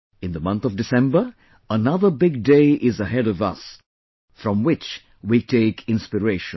In the month of December, another big day is ahead of us from which we take inspiration